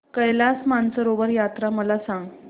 कैलास मानसरोवर यात्रा मला सांग